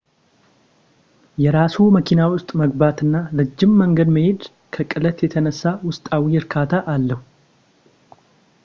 የራስዎ መኪና ውስጥ መግባት እና ረጅም መንገድ መሄድ ከቅለት የተነሳ ውስጣዊ እርካታ አለው